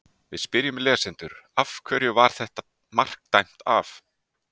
Við spyrjum lesendur: Af hverju var þetta mark dæmt af?